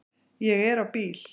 Ég er á bíl